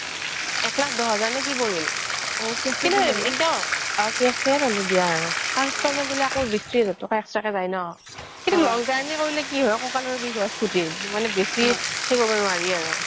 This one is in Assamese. একলাখ দহ হাজাৰ নে কি পৰিল cash এই ললো দিয়া আৰু car installment দিলে আকৌ বিশ তিৰিচ হাজাৰ extra কে যাই ন কিন্তু কি হয় long journey কৰিলে ককালৰ বিষ হয় বহুত মানে বেছি সেৰি কৰিব নোৱাৰি আৰু